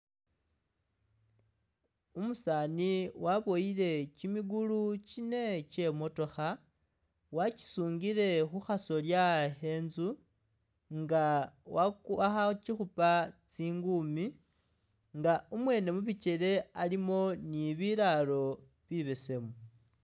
Umusaani waboyile kimigulu kine kye i'motokha, wakisungile khu khasolya khe inzu nga waku akhakikhupa tsingumi nga umwene mu bikele alimo ni bilaalo bibesemu.